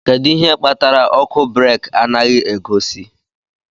Kedu ihe kpatara ọkụ breeki anaghị egosi?